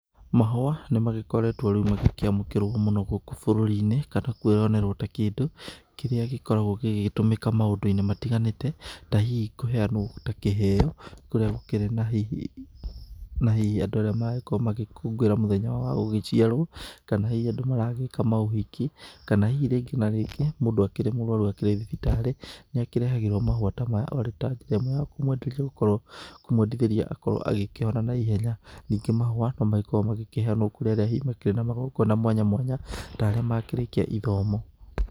Mahũa nĩ magĩkoretwo rĩu magĩkĩamũkĩrwo mũno gũkũ bũrũri-inĩ kana kwĩyonerwo ta kĩndũ kĩrĩa gĩkoragwo gĩgĩtũmĩka maũndũ-inĩ matiganĩte, ta hihi kũheanwo ta kĩheo kũrĩa gũkĩrĩ na hihi andũ arĩa maragĩkorwo magĩkũngũĩra hihi mũthenya wao wa gũciarwo, kana hihi andũ maragĩka maũhiki, kana hihi rĩngĩ na rĩngĩ mũndũ akĩrĩ mũrwaru akĩrĩ thibitarĩ, nĩ akĩrehagĩrwo mahũa ta maya arĩ a njĩra ĩmwe ya kũmwendithĩria akorwo agĩkĩhona na ihenya, ningĩ mahũa no magĩkoragwo magĩkĩheanwo kũrĩ arĩa hihi makĩrĩ na magongona mwanya mwanya, ta arĩa makĩrĩkia ithomo.